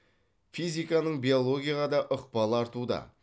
физиканың биологияға да ықпалы артуда